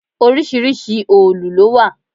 Oríṣiríṣi òòlù ló wà.